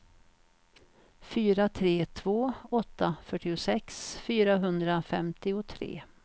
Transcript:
fyra tre två åtta fyrtiosex fyrahundrafemtiotre